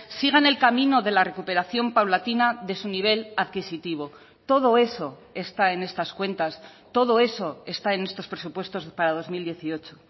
sigan el camino de la recuperación paulatina de su nivel adquisitivo todo eso está en estas cuentas todo eso está en estos presupuestos para dos mil dieciocho